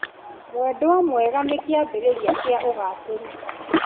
Mwendwa mwega nĩ kĩambĩrĩria kĩa ũgacĩĩru.